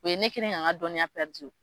O ye ne kɛlen ye k'an ka dɔnniya